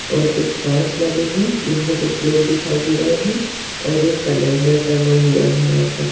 और कुछ काँच लगे है जीनमे कुछ लोग दिखाई दे रहे है और एक कैलेंडर टंगा हुआ है यहा पर --